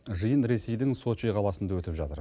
жиын ресейдің сочи қаласында өтіп жатыр